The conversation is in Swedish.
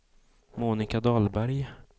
Monika Dahlberg